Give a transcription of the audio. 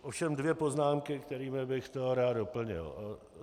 Ovšem dvě poznámky, kterými bych to rád doplnil.